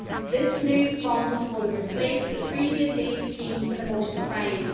This new fund will replace the previous aid scheme for the most deprived.